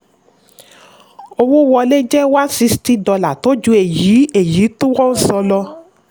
owó wọlé jẹ́ one sixty dollar tó ju èyí èyí tí wọ́n san lọ.